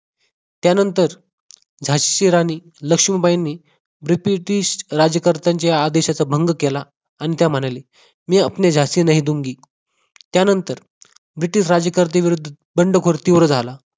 त्यानंतर झाशीची राणी लक्ष्मीबाईंनी ब्रिटिश राज्यकर्त्यांच्या आदेशाचा भंग केला आणि त्या म्हणाल्या मै अपने जासी नही दूंगी त्यानंतर ब्रिटिश राज्यकर्ते विरुद्ध बंडखोर तीव्र झाला